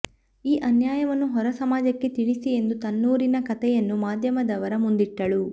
ಈ ಅನ್ಯಾಯವನ್ನು ಹೊರ ಸಮಾಜಕ್ಕೆ ತಿಳಿಸಿ ಎಂದು ತನ್ನೂರಿನ ಕಥೆಯನ್ನು ಮಾಧ್ಯಮದವರ ಮುಂದಿಟ್ಟಳು